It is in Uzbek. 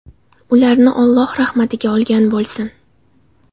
Ularni Alloh rahmatiga olgan bo‘lsin.